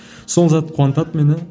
сол зат қуантады мені